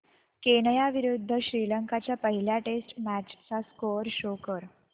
Kenya विरुद्ध श्रीलंका च्या पहिल्या टेस्ट मॅच चा स्कोअर शो कर